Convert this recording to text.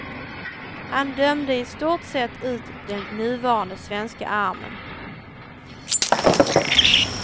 Han dömde i stort sett ut den nuvarande svenska armen.